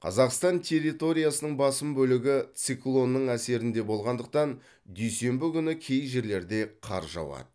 қазақстан территориясының басым бөлігі циклонның әсерінде болғандықтан дүйсенбі күні кей жерлерде қар жауады